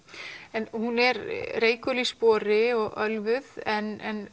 en hún er reikul í spori og ölvuð en